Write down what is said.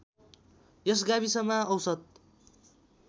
यस गाविसमा औसत